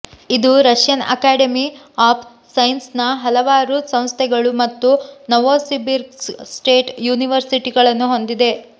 ಇದು Russian academy of ಸೈನ್ಸಸ್ನ ಹಲವಾರು ಸಂಸ್ಥೆಗಳು ಮತ್ತು ನೋವೊಸಿಬಿರ್ಸ್ಕ್ ಸ್ಟೇಟ್ ಯೂನಿವರ್ಸಿಟಿಗಳನ್ನು ಹೊಂದಿದೆ